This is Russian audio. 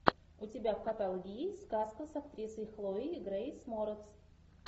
у тебя в каталоге есть сказка с актрисой хлоей грейс морец